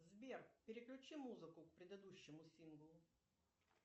сбер переключи музыку к предыдущему синглу